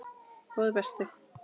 Góði besti.